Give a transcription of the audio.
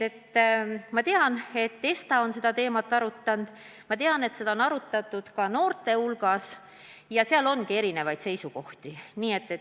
Ma tean, et ESTA on seda teemat arutanud, ma tean, et seda on arutatud ka noorte hulgas ja on väga erinevaid seisukohti.